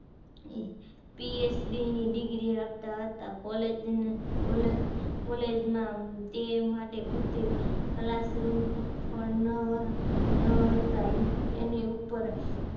PHD ની degree આપતા હતા college college માં તે માટે પૂરતી classroom પણ ન ન હતા તેની ઉપર